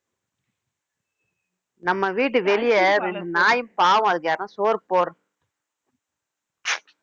நம்ப வீட்டு வெளிய ஒரு நாய் பாவம் அதுக்கு யாருன்னா சோறு போடு~